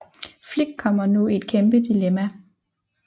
Flik kommer nu i et kæmpe dilemma